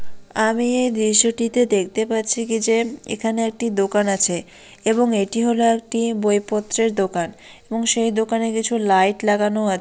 আমি এই দৃশ্যটিতে দেখতে পাচ্ছি কি যে এখানে একটি দোকান আছে এবং এটি হলো একটি বইপত্রের দোকান এবং সেই দোকানে কিছু লাইট লাগানো আ--